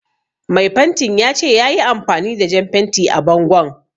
Mai fentin ya ce yayi amfani da jan fenti a bangon